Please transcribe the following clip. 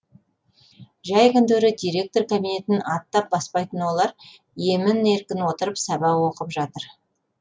жәй күндері директор кабинетін аттап баспайтын олар емін еркін отырып сабақ оқып жатыр